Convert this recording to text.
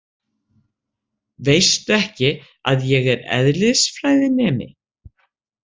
Veistu ekki að ég er eðlisfræðinemi?